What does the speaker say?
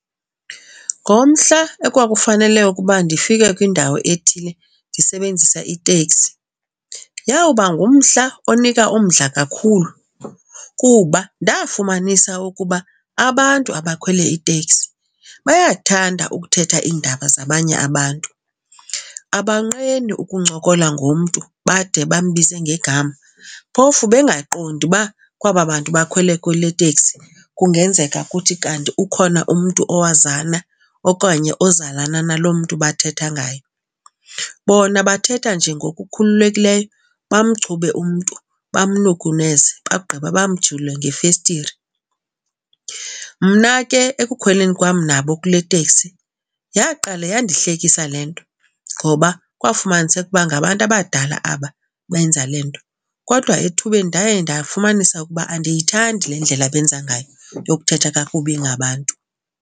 Ngomhla ekwakufanele ukuba ndifike kwindawo ethile ndisebenzisa iteksi yawuba ngumhla onika umdla kakhulu kuba ndafumanisa ukuba abantu abakhwele iteksi bayathanda ukuthetha iindaba zabanye abantu. Abonqeni ukuncokola ngomntu bade bambize ngegama phofu bengaqondi uba kwaba bantu bakhwele kule tekisi kungenzeka kuthi kanti ukhona umntu owazana okanye ozalana nalo mntu bathetha ngaye. Bona bathetha nje ngokukhululekileyo, bamchube umntu, bamnukuneze, bawugqiba bamjule ngefestire. Mna ke ekukhweleni kwam nabo kule teksi yaqale yandihlekisa le nto ngoba kwafumaniseka ukuba ngabantu abadala aba benza le nto. Kodwa ethubeni ndaye ndafumanisa ukuba andiyithandi le ndlela abenza ngayo yokuthetha kakubi ngabantu.